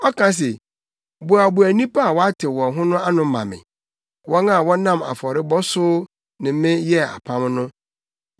Ɔka se, “Boaboa nnipa a wɔatew wɔn ho no ano ma me; wɔn a wɔnam afɔrebɔ so ne me yɛɛ apam no.”